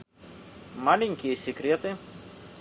маленькие секреты